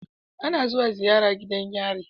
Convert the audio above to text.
Ana zuwa ziyara gidan yari